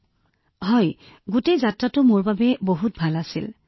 হয় যদি আমি গোটেই যাত্ৰাটো বিবেচনা কৰো ই মোৰ বাবে আশ্চৰ্যজনক আছিল